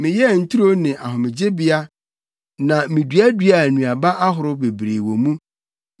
Meyɛɛ nturo ne ahomegyebea na miduaduaa nnuaba ahorow bebree wɔ mu.